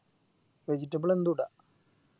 Vegetable എന്തുട